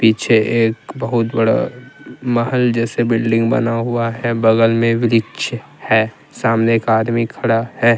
पीछे एक बहुत बड़ा महल जैसे बिल्डिंग बना हुआ है बगल में वृक्ष है सामने एक आदमी खड़ा है।